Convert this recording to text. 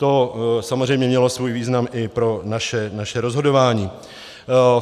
To samozřejmě mělo svůj význam i pro naše rozhodování.